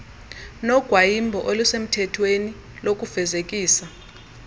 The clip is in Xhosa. nogwayimbo olusemthethweni lokufezekisa